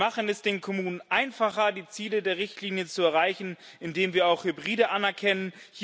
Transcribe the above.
Wir machen es den Kommunen einfacher, die Ziele der Richtlinie zu erreichen, indem wir auch Hybride anerkennen.